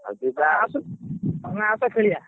ତମେ ଆସ ଖେଳିଆ।